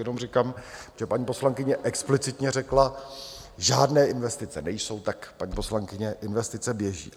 Jenom říkám, že paní poslankyně explicitně řekla: Žádné investice nejsou, tak, paní poslankyně, investice běží.